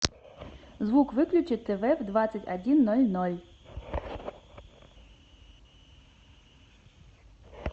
звук выключи тв в двадцать один ноль ноль